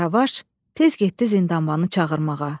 Qaravaş tez getdi Zindanbanı çağırmağa.